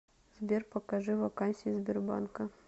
сбер покажи вакансии сбербанка